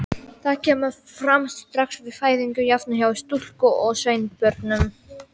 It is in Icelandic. Það kemur fram strax við fæðingu, jafnt hjá stúlku- og sveinbörnum.